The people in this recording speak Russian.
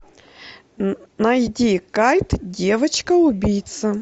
найди кайт девочка убийца